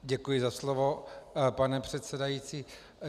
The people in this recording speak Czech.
Děkuji za slovo, pane předsedající.